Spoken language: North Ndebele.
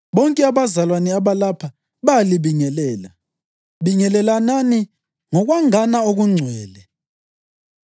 Bonke abazalwane abalapha bayalibingelela. Bingelelanani ngokwangana okungcwele.